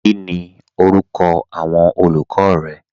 Kíni orúkọ awọn olùkọ rẹ?